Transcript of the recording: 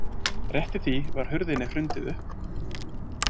Rétt í því var hurðinni hrundið upp.